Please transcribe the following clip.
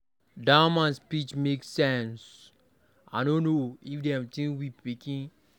Dat man speech make sense, I no know if dem dey think we pikin.